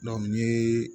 n ye